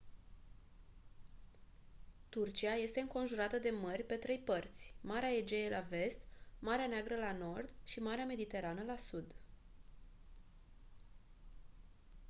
turcia este înconjurată de mări pe trei părți marea egee la vest marea neagră la nord și marea mediterană la sud